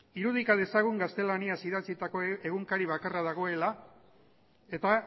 irudika dezagun gaztelaniaz idatzitako egunkari bakarra dagoela eta